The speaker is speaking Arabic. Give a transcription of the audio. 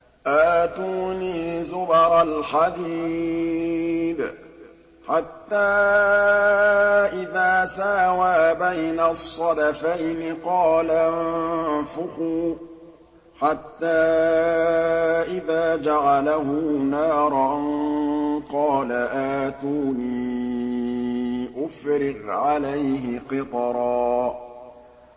آتُونِي زُبَرَ الْحَدِيدِ ۖ حَتَّىٰ إِذَا سَاوَىٰ بَيْنَ الصَّدَفَيْنِ قَالَ انفُخُوا ۖ حَتَّىٰ إِذَا جَعَلَهُ نَارًا قَالَ آتُونِي أُفْرِغْ عَلَيْهِ قِطْرًا